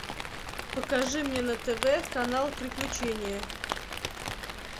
покажи мне на тв канал приключения